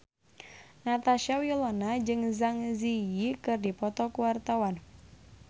Natasha Wilona jeung Zang Zi Yi keur dipoto ku wartawan